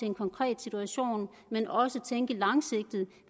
en konkret situation men også tænke langsigtet